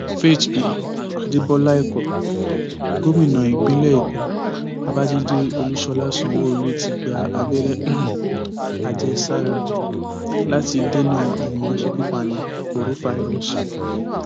faith um adébọlá ẹkọ gómìnà ìpínlẹ èkó babájídé olúṣọlá sanwóolu ti gba abẹrẹ um àjẹsára láti dènà àrùn aṣekúpani korofairós